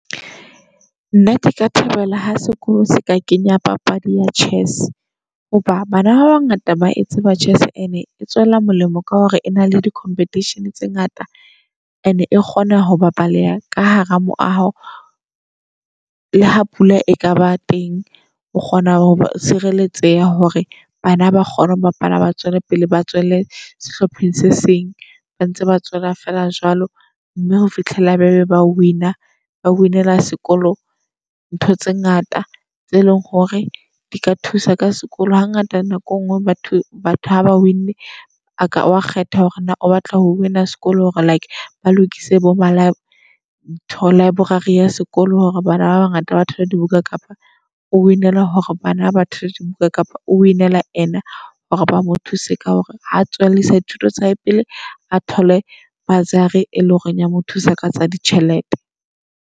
Nna ke ka thabela ha sekolo se ka kenya papadi ya chess. Hoba bana ba bangata ba e tseba chess and-e e tswela molemo ka hore ena le di-competition tse ngata and e kgona ho ba baleha ka hara moaho. Le ha pula e ka ba teng, o kgona ho sireletseha hore bana ba kgone ho bapala. Ba tswele pele ba tswele sehlopheng se seng, ba ntse ba tswela feela jwalo mme ho fihlela be ba win-a ba win-ela sekolo ntho tse ngata tse leng hore di ka thusa ka sekolo. Ha ngata nako engwe batho batho haba win-nne a ka wa kgetha hore na o batla ho win-na sekolo. Hore like ba lokise bo ma lib ntho library ya sekolo hore bana ba bangata batho ba dibuka. Kapa o win-ele hore bana batho bale dibuka, kapa o win-ela hore ba mo thuse ka hore ha tswellisa dithuto tsa hae pele a thole bursary. E leng hore ya mo thusa ka tsa ditjhelete.